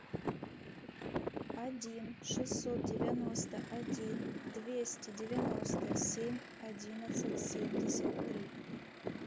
один шестьсот девяносто один двести девяносто семь одиннадцать семьдесят три